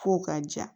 F'o ka ja